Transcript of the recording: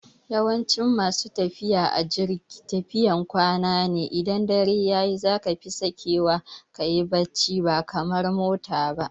Yawancin masu tafiya a jirgi tafiyan kwana ne, idan dare yayi zaka fi sakewa kayi bacci ba kamar motar ba